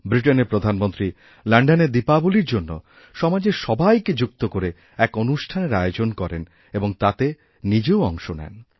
ব্রিটেনের প্রধানমন্ত্রী লণ্ডনে দীপাবলীর জন্যসমাজের সবাইকে যুক্ত করে এক অনুষ্ঠানের আয়োজন করেন এবং তাতে নিজেও অংশ নেন